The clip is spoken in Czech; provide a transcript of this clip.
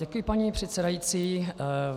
Děkuji, paní předsedající.